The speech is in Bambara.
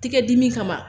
Tigɛ dimi kama